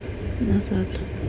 назад